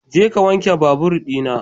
Jeka ka wanke babur ɗina.